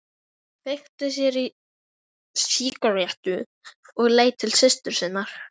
Kveikti sér í sígarettu og leit til systur sinnar.